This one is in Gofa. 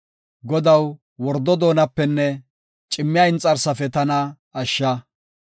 Godaw, wordo doonapenne cimmiya inxarsafe tana ashsha.